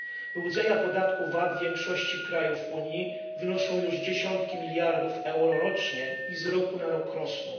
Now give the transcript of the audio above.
Wyłudzenia podatku VAT w większości krajów Unii wynoszą już dziesiątki miliardów euro rocznie i z roku na rok rosną.